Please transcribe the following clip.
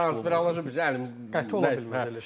Konspirologiya bizə əlimizdə qəti ola bilməz elə şeylər.